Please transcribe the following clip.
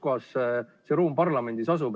Kuskohas see ruum parlamendis asub?